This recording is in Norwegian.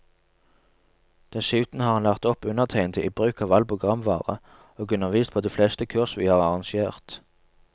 Dessuten har han lært opp undertegnede i bruk av all programvare, og undervist på de fleste kurs vi har arrangert.